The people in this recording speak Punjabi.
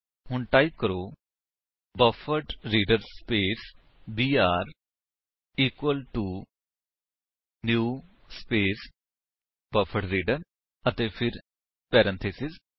ਹੁਣ ਟਾਈਪ ਕਰੋ buffered reader space BR equal to new space buffered reader ਅਤੇ ਫਿਰ ਪੈਰੇਂਥੀਸਿਸ